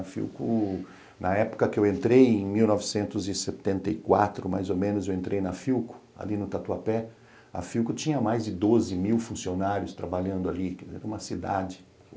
A Philco... Na época que eu entrei, em mil novecentos e setenta e quatro, mais ou menos, eu entrei na Philco, ali no Tatuapé, a Philco tinha mais de doze mil funcionários trabalhando ali, era uma cidade.